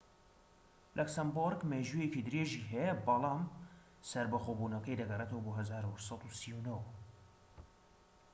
لەکسەمبۆرگ مێژوویەکی درێژی هەیە بەڵم سەربەخۆبونەکەی دەگەرێتەوە بۆ ١٨٣٩